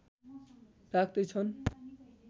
राख्दै छन्